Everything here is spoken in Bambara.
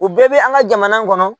U bɛɛ bɛ an ka jamana kɔnɔ.